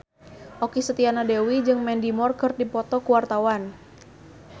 Okky Setiana Dewi jeung Mandy Moore keur dipoto ku wartawan